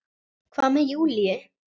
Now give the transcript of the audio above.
Hvað með Júlíu?